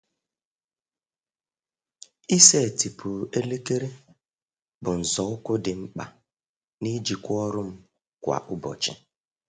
Ịsetịpụ elekere bụ nzọụkwụ dị mkpa n’ijikwa ọrụ m kwa ụbọchị.